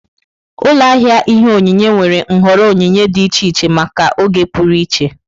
Ụlọ ahịa ihe onyinye nwere nhọrọ onyinye dị iche iche maka oge pụrụ iche.